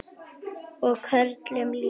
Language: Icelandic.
Og körlum líka.